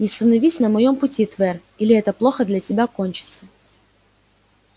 не становись на моем пути твер или это плохо для тебя кончится